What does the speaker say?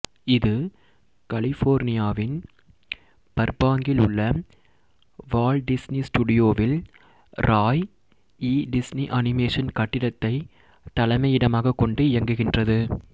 இது கலிபோர்னியாவின் பர்பாங்கில் உள்ள வால்ட் டிஸ்னி ஸ்டுடியோவில் ராய் ஈ டிஸ்னி அனிமேஷன் கட்டிடத்தை தலைமையிடமாக கொண்டு இயங்குகின்றது